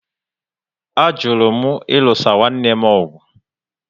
A jụrụ m ilusa nwanne m ọgụ